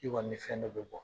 I kɔni ni fɛn dɔ be bɔ.